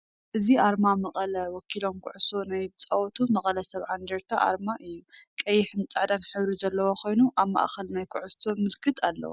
እዚ አርማ መቀለ ከተማ ወኪሎም ኩዕሶ ናይ ዝፃወቱ (መቀለ ሰብዓ እንደርታ) አርማእዩ፡፡ ቀይሕን ፃዕዳን ሕብሪ ዘለዎ ኮይኑ አብ ማእከል ናይ ኩዕሶ ምልክት አለዎ፡፡